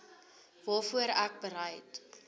waarvoor ek bereid